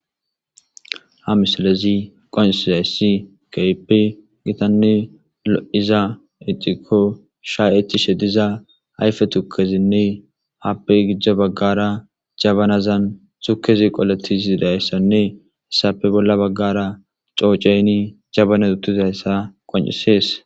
ha misalezi qonciizayssi keipe gitanne lo7iza eccikko sha ecishe diza ayfe tukezinne happe gijja baggara jabanazan tukezi qoletizi dayssanne hessappe bolla baggara cooceynni jabane uttizayssa qon7isees